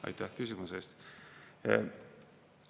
Aitäh küsimuse eest!